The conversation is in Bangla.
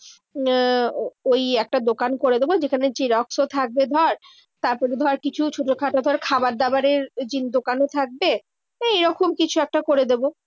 আহ ওই একটা দোকান করে দেবো যেখানে জেরক্সও থাকবে ধর, তারপরে ধর কিছু ছোটো খাটো ধর খাবারদাবারের ওই দোকানও থাকবে। এই এরকম কিছু একটা করে দেবো।